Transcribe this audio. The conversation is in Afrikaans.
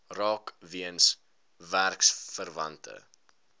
raak weens werksverwante